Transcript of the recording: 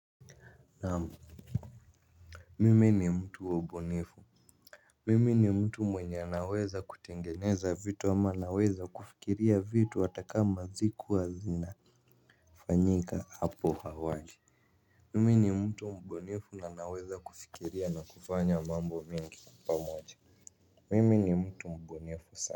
Naamu. Mimi ni mtu wa ubunifu. Mimi ni mtu mwenye naweza kutengeneza vitu ama naweza kufikiria vitu atakama zikuwa zina fanyika hapo hawali. Mimi ni mtu mbunifu na naweza kufikiria na kufanya mambo mingi pamoja. Mimi ni mtu mbunifu sana.